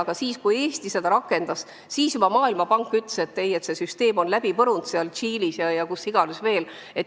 Aga kui Eesti seda rakendas, siis ütles Maailmapank juba toona, et see süsteem on läbi põrunud Tšiilis ja kus iganes veel.